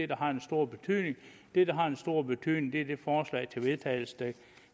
der har den store betydning det der har den store betydning er de forslag til vedtagelse der